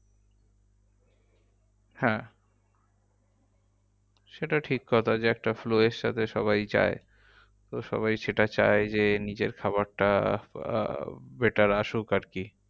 হ্যাঁ সেটা ঠিক কথা যে একটা flow এর সাথে সবাই যায় তো সবাই সেটা চায় যে নিজের খাবারটা আহ better আসুক আরকি।